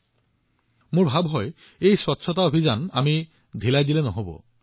মই এইটোও অনুভৱ কৰোঁ যে পৰিষ্কাৰ পৰিচ্ছন্নতা অভিযানটো আমি সামান্যও অদৃশ্য হবলৈ দিব নালাগে